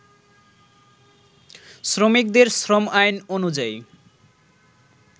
শ্রমিকদের শ্রম আইন অনুযায়ী